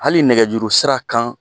Hali nɛgɛjurusira kan